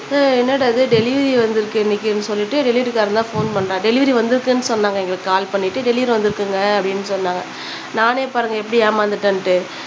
உம் என்னடா இது டெலிவரி வந்துருக்கு இன்னைக்கு அப்படினு சொல்லிட்டு டெலிவரிகாரன் தான் ஃபோன் பண்ணான் டெலிவரி வந்துருக்குனு சொன்னாங்க எங்களுக்கு கால் பண்ணி டெலிவரி வந்துருக்குங்க அப்படினு சொன்னாங்க நானே பாருங்க எப்பிடி ஏமாந்துட்டேன்ட்டு